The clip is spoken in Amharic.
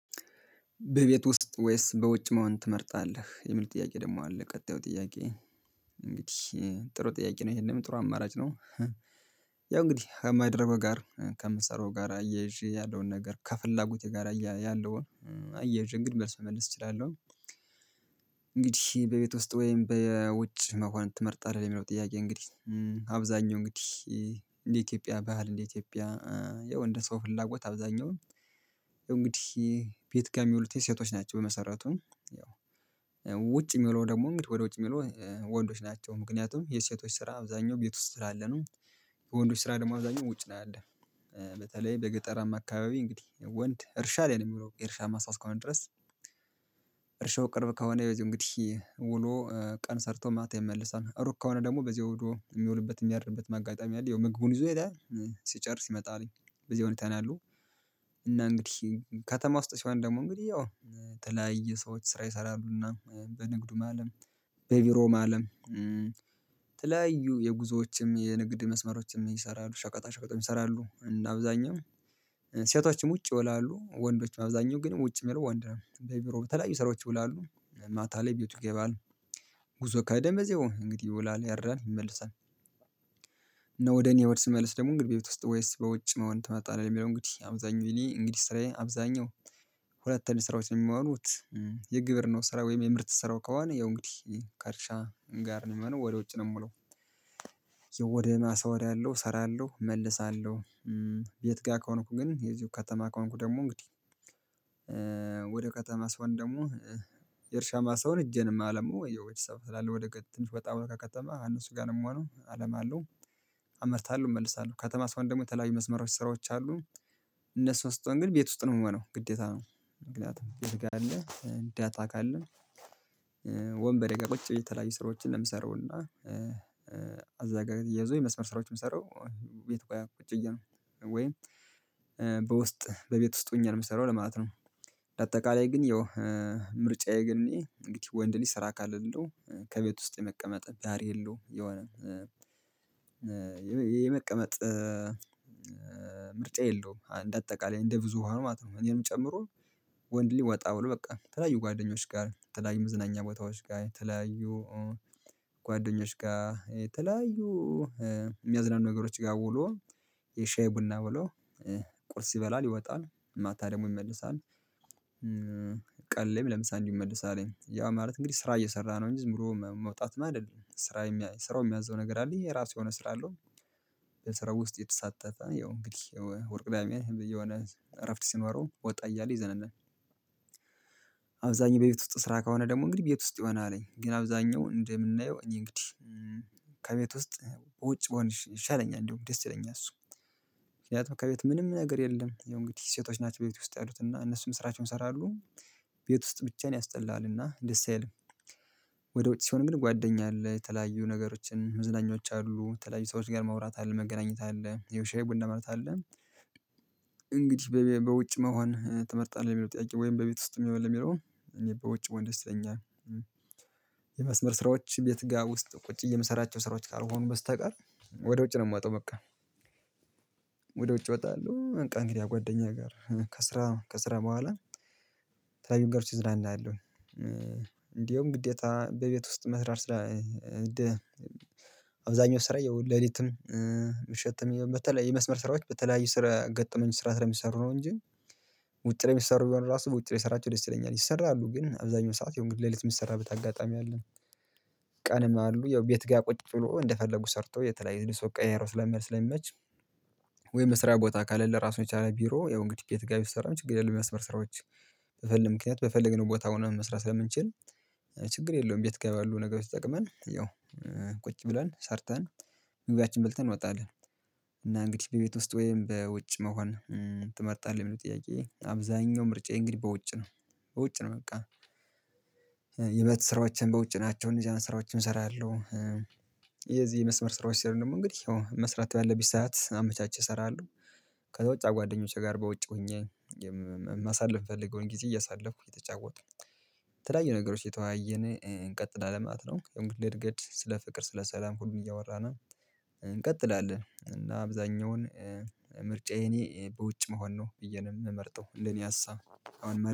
በቤት ውስጥ ወይስ በውጭ መሆን ትመርጣለህ? የሚል ጥያቄ ደግሞ አለ ቀጣዩ ጥያቄ እንግዲህ ጥሩ ጥያቄ ነው ይሄንም ጥሩ አማራጭ ነው። ያው እንግዲህ ከማደረገው ጋር ከምትሰራው ጋር እያይዤ ያለውን ነገር ከፍላጎቴ ጋራ አያይዤ እንግዲህ መልስ መመለስ እችላለሁ እንግዲህ በቤት ውስጥ ወይም በውጭ መሆንን ትመርጣለህ ለሚለው ጥያቄ እንግዲህ አብዛኛው እንግዲህ እንደ ኢትዮጵያ ባህል እንደ ኢትዮጵያ የወንድ ሰው ፍላጎት አብዛኛውን እንግዲህ ቤት ጋር የሚውሉት ሴቶች ናቸው በመሰረቱ ያው የሚለው ደግሞ እንግዲህ ወደ ውጭ የሚለው ወንዶች ናቸው ምክንያቱም የሴቶች ስራ አብዛኛው ቤት ውስጥ ስላለ ነው የወንዶች ስራ ደግሞ አብዛኛው ውጭ ነው ያለ። በተለይ በገጠራማ አካባቢ እንግዲህ ወንድ እርሻ ላይ ነው የሚለው እርሻማ ማሳ ከሆነ ድረስ እርሻው ቅርብ ከሆነ ይዞ እንግዲህ ውሎ ቀን ሰርቶ ማታ ይመልሳል ሩቅ ከሆነ ደግሞ በዚያ ሂዶ የሚውልበት የሚያርብበት ማጋጠሚያ አለ ያው ምግቡን ይዞ ይሄዳል ሲጨርስ ይመጣልኝ በዚህ ነው ያለው እና እንግዲህ ከተማ ውስጥ ሲሆን ደግሞ እንግዲህ ያው ተለያየ ሰዎች ስራ ይሰራሉና በንግዱ ማለም በቢሮ አለም ተለያዩ የጉዞዎችም የንግድ መስመሮችም ይሰራሉ ሸቀጣ ሸቀጣም ይሰራሉ እና አብዛኛው ሴቶችም ውጪ ይውላሉ ወንዶችም አብዛኛው ግን ውጪ የሚለው ወንድ ነው በቢሮ በተለያዩ ሰራዎች ይውላሉ ማታ ላይ ቤቱ ይገባል ጉዞ ከሄደም እንግዲህ ይውላል ያድራል ይመለሳል እና ወደ እኔ ወድ ስመልስ ደግሞ እንግዲህ ቤት ውስጥ ወይስ በውጭ መሆን ትመርጣለህ የሚለው እንግዲህ አብዛኛው እኔ እንግዲህ ስራዬ አብዛኛው ሁለት አይነት ስራዎች ነው የማሆኑት የግብርናው ነው ስራ ወይም የምርት ስራው ከሆነ ያው እንግዲህ ከእርሻ ጋር ነው የምለው ወደ ውጪ ነው የምውለው ወደ ማሳ ሄዳለሁ እሰራለሁ እመልሳለሁ የት ጋር ከሆንኩ ግን የዚሁ ከተማ ከሆንኩ ደግሞ እንግዲህ ውደ ከተማ ስሆን ደግሞ የእርሻ ማሳውን እጄንማ ለመው ወይ ወይ ሰው ስላለ ወደ ትንሽ በጣም ወጣብሎ ከከተማ እነሱ ጋር ነው የምሆነው አለም አለም አመርታለሁ እመልሳለሁ ከተማ ሰው ደግሞ የተለያዩ ምስመሮች ስራዎች አሉ እነሱ ስጦን ግን ቤት ውስጥ ነው የምመነው ግዴታ ነው ምክንያቱም ይልካል አለ እንዳታውቃለን ወንበሬ ጋር ቁጭ ብዬ የተለያዩ ስራዎችን የምሰራውና እዛ ጋር እየያዙ የመስመር ስራዎችን ሰራው ቤት ቆያ ቁጭ እያለ ወይም በውስጥ በቤት ውስጥ ሆኜ ነው የምሰራው ለማለት ነው ለአጠቃላይ ግን ያው ምርጫዬ ግን እኔ እንግዲህ ወንድ ሊሰራ ካልልኝ እንደው ከቤት ውስጥ የመቀመጥ ዳር የለውም የሆነ የመቀመጥ ምርጫ የለውም እንደ አጠቃላይ እንደ ብዙሃኑ ማለት ነው እኔንም ጨምሮ ወንድ ልጅ ወጣ ብሎ በቃ ተለያዩ ጓደኞች ጋር ተለያዩ መዝናኛ ቦታዎች ጋር ተለያዩ ጓደኞች ጋር የተለያዩ የሚያዝናኑ ነገሮች ጋር ውሎ የሻይ ቡና ብሎ ቁርስ ይበላል ይወጣል ማታ ደግሞ ይመልሳል ቀን ላይም ለምሳ ይመለሳልኝ ያ ማለት እንግዲህ ስራ እየሰራ ነው እንጂ ዝም ብሎ መውጣት አይደለም ስራ ስራው የሚያዝዘው ነገር አለኝ የራሱ የሆነ ስራ አለው የስራ ውስጥ የተሳተፈ ያው እንግዲህ እሁድ ቅዳሜ የሆነ እረፍት ሲኖረው ወጣ እያለ ይዝናናል አብዛኛው በቤት ውስጥ ስራ ከሆነ ደግሞ እንግዲህ ቤት ውስጥ ይሆናልኝ ግን አብዛኛው እንደምናየው እኔ እንግዲህ ከቤት ውስጥ ውጭ ብሆን ይሻለኛል እንደውም ደስ ይለኛል እሱ ምክንያቱም ከቤት ምንም ነገር የለም ያው እንግዲህ ሴቶች ናቸው ቤት ውስጥ ያሉት እና እነሱም ስራቸውን ይሰራሉ ቤት ውስጥ ብቻህን ያስጠላልና ደስ አይልም። ወደ ወጪ ሲሆን ግን ጓደኛ አለ የተለያዩ ነገሮችን መዝናኛዎች አሉ የተለያዩ ሰዎች ጋር ማውራት አለ መገናኘት አለ ሻይ ቡና ማለት አለ እንግዲህ በውጭ መሆን ትመርጣለህ ወይም በቤት ውስጥ የሚለው የሚለው እኔ በውጭ ብሆን ደስ ይለኛል። የመስመር ስራዎች ቤት ጋር ውስጥ ቁጭ የምሰራቸው ስራዎች ካልሆኑ በስተቀር ወደ ውጭ ነው የምወጣው በቃ ወደ ውጭ እወጣለሁ በቃ እንግዲህ ጓደኛዬ ጋር ከስራ ከስራ በኋላ ተለያዩ ነገሮች እዝናናለሁ እንዲሁም ግዴታ በቤት ውስጥ መስራት ስራ አብዛኛው ስራዬ ይኸው ለሊትም ምሽትም የመስመር ስራዎች በተለያዩ ስራ ገጠመኝ ስራ ስለሚሰሩ ነው እንጂ ውጭ ላይ የሚሰሩ የሆነ ራሱ ውጭ ላይ የሰራቸው ደስ ይለኛል ይሰራሉ ግን አብዛኛው ሰዓት የሆነ ሌሊት የምትሰራበት አጋጣሚ አለን አሉ ያው ቤት ጋር ቁጭ ብሎ እንደፈለጉ ሰርቶ የተለያየ ሰው ቀይሮ ስለሚመች ወይ መስሪያ ቦታ ካለ ለራሱ የቻለ ቢሮ ያው እንግዲህ የተጋቢ ስሰራ ችግር የለም የሚያስመርስራዎች በፈለግን ምክንያት በፈለግን ቦታ ሆኖ መስራት ስለምንችል ችግር የለውም ቤት ጋር ያሉ ነገሮች ተጠቅመን ያው ቁጭ ብሏል ሰርተን ጉባኤያችን በልተን እንወጣለን እና እንግዲህ በቤት ውስጥ ወይም በውጭ መሆን ትመርጣለህ የሚለው ጥያቄ አብዛኛው ምርጫዬ እንግዲህ በውጭ ነው በውጭ ነው በቃ የቤት ስራዎቼም በውጭ ናቸው እንጃን ስራዎችን እሰራለሁ የዚህ የመስመር ስራዎች ስር ደግሞ እንግዲህ መስራቱ ያለብኝ ሰዓት አመቻችቼ እሰራለሁ ከውጭ ጓደኞቼ ጋር በውጭ ሆኜ የማሳልፍ ፈልገውን ጊዜ እያሳለፍኩ እየተጫወቱ ተለያዩ ነገሮች የተወያየን እንቀጥላ ማለት ነው የምንገኘው እንግዲህ እድገት ስለ ፍቅር ስለ ሰላም ሁሉን እያወራን እንቀጥላለን እና አብዛኛውን ምርጫዬን በውጭ መሆን ነው ብዪ ነው የምመርጠው ለኔ ሀሳብ